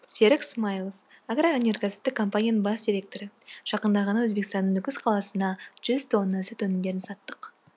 серік смаилов агроөнеркәсіптік компанияның бас директоры жақында ғана өзбекстанның нүкіс қаласына жүз тонна сүт өнімдерін саттық